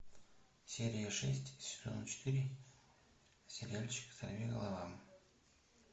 серия шесть сезона четыре сериальчик сорвиголова